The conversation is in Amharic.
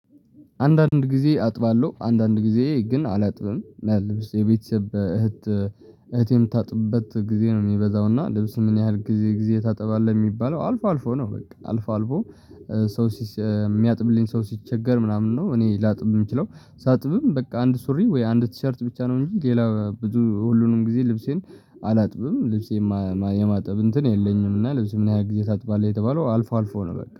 አንዳንድ ጊዜ አጥባለሁ አንዳንድ ጊዜ ግን አላጥብም እና ልብስ የቤተሰብ እህት እህቴም ታጥብበት ጊዜ ነው። የሚበዛው እና ልብስ ምን ያህል ጊዜ ጊዜ ታጥባለህ የሚባለው አልፎ አልፎ ነው። በቃ አልፎ አልፎ። ሰው የሚያጥብልኝ ሰው ሲቸገር ምናምን ነው። እኔ ላጥብም የምችለው ሳጥብም በቃ አንድ ሱሪ ወይ አንድ ቲሸርት ብቻ ነው። እንጂ ሌላ ብዙ ሁሉንም ጊዜ ልብሴን አላጥብም። ልብሴን የማጥብ እንትን የለኝም። እና ልብሴን ምን ያህል ጊዜ ታጥባለህ የተባለው አልፎ አልፎ ነው። በቃ